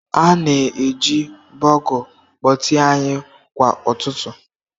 Ha na-eji bugle kpọtee anyị kwa ụtụtụ.